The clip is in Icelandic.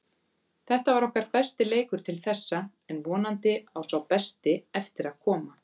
Þetta var okkar besti leikur til þessa en vonandi á sá besti eftir að koma.